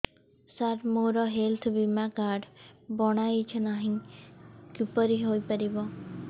ସାର ମୋର ହେଲ୍ଥ ବୀମା କାର୍ଡ ବଣାଇନାହିଁ କିପରି ହୈ ପାରିବ